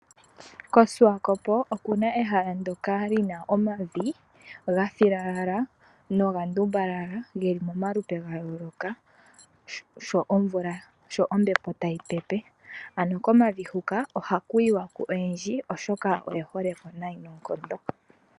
KoSwakop okuna ehala ndyoka lina omavi gafilalala noga ndumbala geli momalupe gayoloka sho ombepo tayi pepe. Ano komavi huka ohaku yiwa ku oyendji oshoka oye holeko nayi noonkondo.